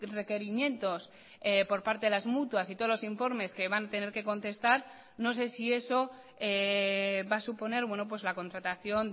requerimientos por parte de las mutuas y todos los informes que van a tener que contestar no sé si eso va a suponer la contratación